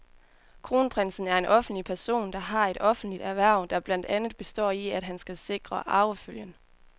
Kronprinsen er en offentlig person, der har et offentligt hverv, der blandt andet består i, at han skal sikre arvefølgen.